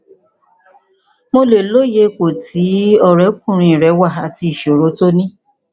mo lè lóye ipò tí ọrẹkùnrin rẹ wà àti ìṣòro tó ní